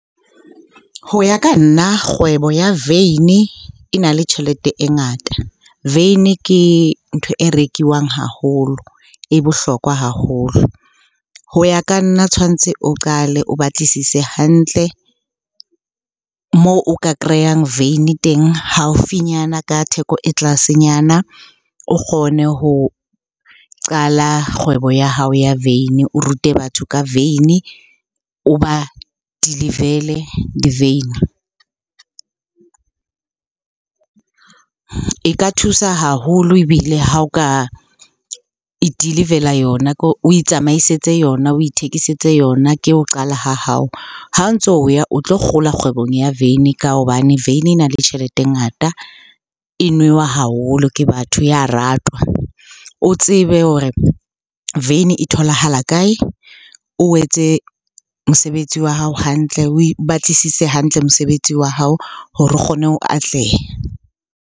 Ho ya ka nna, kgwebo ya veine e na le tjhelete e ngata. Veine ke ntho e rekwang haholo, e bohlokwa haholo. Ho ya ka nna tshwanetse o qale o batlisise hantle moo o ka kreyang veine teng haufinyana ka theko e tlase nyana. O kgone ho qala kgwebo ya hao ya veine, o rute batho ka veine, o ba deliver-ele diveine. E ka thusa haholo ebile ha o ka e i-deliver-ela yona, o itsamaisetse yona, o ithekisetse yona ke ho qala ha hao. Ha o ntso o ya o tlo kgola kgwebong ya veine ka hobane veine e na le tjhelete e ngata, e newa haholo ke batho, ya ratwa. O tsebe hore veine e tholahala kae? O etse mosebetsi wa hao hantle, oe batlisise hantle mosebetsi wa hao hore o kgone ho atleha.